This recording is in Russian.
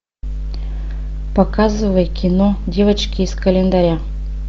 показывай кино девочки из календаря